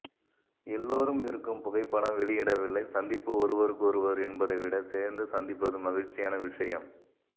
எல்லோரும் இருக்கும் புகைப்படம் வெளியிடவில்லை சந்திப்பு ஒருவருக்கொருவர் என்பதை விட சேர்ந்து சந்திப்பது மகிழ்ச்சியான விஷயம்